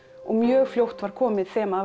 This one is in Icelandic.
og mjög fljótt var komið þema